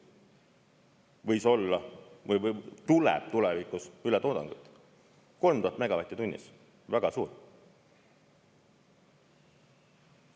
Võib-olla tuleb tulevikus ületoodangut 3000 megavatti tunnis, see on väga suur.